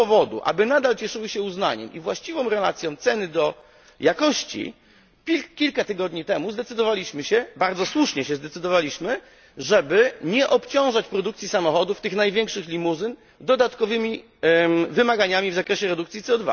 Z tego powodu, aby nadal cieszyły się uznaniem i właściwą relacją ceny do jakości, kilka tygodni temu zdecydowaliśmy bardzo słusznie nie obciążać produkcji samochodów tych największych limuzyn dodatkowymi wymogami z zakresie redukcji CO